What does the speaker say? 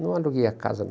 Não aluguei a casa, não.